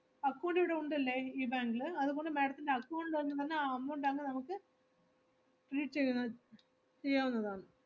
Account ഇവിടെ ഉണ്ടല്ലേ ഈ bank ല്? അതുപോലെ madam ത്തിന്റെ account എന്ന് പറഞ്ഞാ ആ amount ആണ് നമുക്ക് ചെയ്യാവുന്നതാണ്.